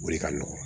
O de ka nɔgɔn